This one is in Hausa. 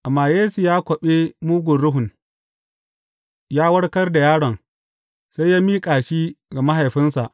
Amma Yesu ya kwaɓe mugun ruhun, ya warkar da yaron, sai ya miƙa shi ga mahaifinsa.